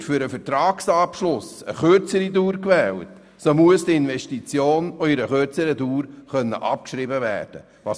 Wird für den Vertragsabschluss eine kürzere Dauer gewählt, so muss die Investition auch in einer kürzeren Dauer abgeschrieben werden können.